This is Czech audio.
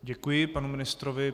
Děkuji panu ministrovi.